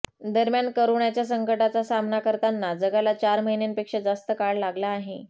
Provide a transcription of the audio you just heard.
दरम्यान करोनाच्या संकटाचा सामना करताना जगाला चार महिन्यांपेक्षा जास्त काळ लागला आहे